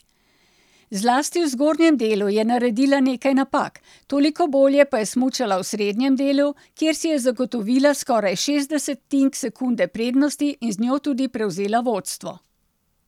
Zlasti v zgornjem delu je naredila nekaj napak, toliko bolje pa smučala v srednjem delu, kjer si je zagotovila skoraj šest desetink sekunde prednosti in z njo tudi prevzela vodstvo.